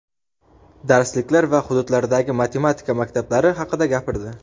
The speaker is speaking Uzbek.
darsliklar va hududlardagi matematika maktablari haqida gapirdi.